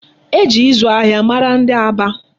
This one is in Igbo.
E ji ịzụ ahịa mara Aba.